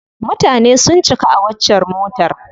Mutane sun cika a waccar motar.